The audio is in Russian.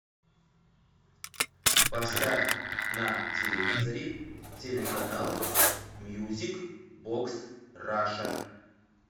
поставь на телевизоре телеканал мьюзик бокс раша